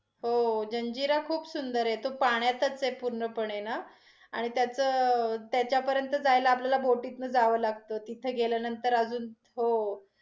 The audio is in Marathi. हो, हो जंजिरा खूप सुंदर आहे तो पण्याचाच आहे पूर्णपणे ना आणि त्याच, त्याच्यापर्यंत जायला आपल्याला बोटीतन जावं लागत. तिथे गेल्यानंतर अजून